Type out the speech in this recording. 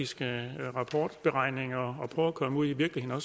skal regulere